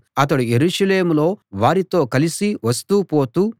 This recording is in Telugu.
అతడు యెరూషలేములో వారితో కలిసి వస్తూ పోతూ